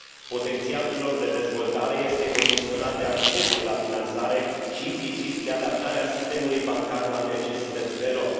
Potențialul lor de dezvoltare este condiționat de accesul la finanțare și, implicit, de adaptarea sistemului bancar la necesitățile lor.